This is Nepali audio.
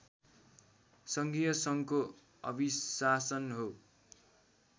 सङ्घीय सङ्घको अभिशासन हो